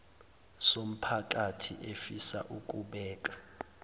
somphakathi efisa ukubeka